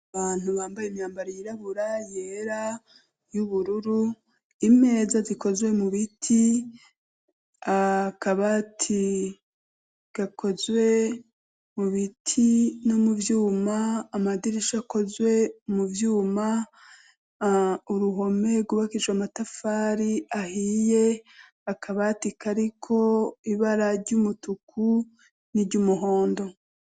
Abantu bambaye imyambaro yirabura, yera, y'ubururu, imeza zikozwe mu biti, akabati gakozwe mu biti no mu vyuma, amadirisha akozwe mu vyuma, uruhome rwubakishijwe amatafari ahiye, akabati kariko ibara ry'umutuku n'iryumuhondo.